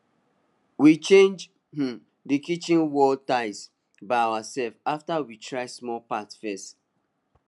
we change um di kitchen wall tile by ourself after we try small part first